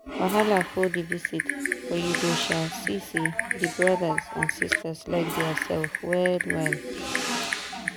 wahala full the visit but you go um see say the brothers and sisters like dia sef well well.